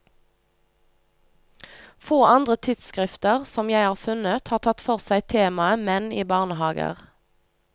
Få andre tidsskrifter, som jeg har funnet, har tatt for seg temaet menn i barnehager.